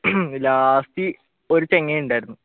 last ഒരു ചങ്ങായി ഉണ്ടായിരുന്നു.